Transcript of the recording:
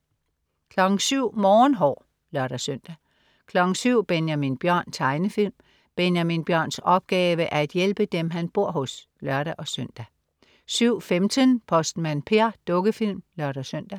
07.00 Morgenhår (lør-søn) 07.00 Benjamin Bjørn.Tegnefilm. Benjamin Bjørns opgave er at hjælpe dem han bor hos (lør-søn) 07.15 Postmand Per. Dukkefilm (lør-søn)